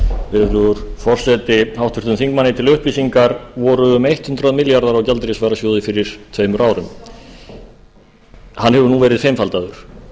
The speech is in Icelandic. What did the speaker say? virðulegur forseti háttvirtum þingmanni til upplýsingar voru um hundrað milljarðar í gjaldeyrisvarasjóði fyrir tveimur árum hann hefur núna verið fimmfaldaður